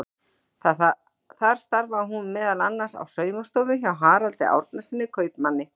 Þar starfaði hún meðal annars á saumastofu hjá Haraldi Árnasyni kaupmanni.